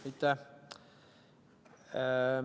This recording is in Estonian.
Aitäh!